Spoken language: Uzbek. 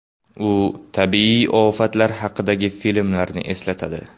U tabiiy ofatlar haqidagi filmlarni eslatadi .